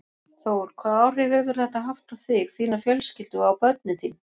Þór: Hvaða áhrif hefur þetta haft á þig, þína fjölskyldu og á börnin þín?